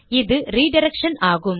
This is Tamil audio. இது ரிடிரக்ஷன் ஆகும்